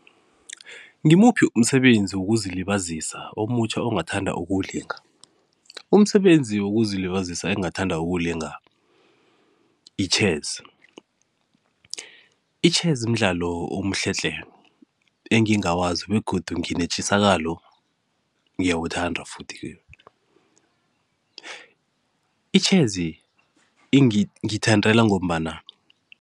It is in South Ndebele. Ngimuphi umsebenzi wokuzilibazisa omutjha ongathanda ukuwulinga? Umsebenzi wokuzilibazisa engingathanda ukuwulinga yi-chess. I-chess mdlalo omuhle tle, engingawazi begodu nginetjisakalo ngiyawuthanda futhi-ke. I-chess ngiyithandela ngombana